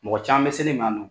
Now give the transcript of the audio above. Mɔgɔ caman bɛ sel'i ma yan nɔn.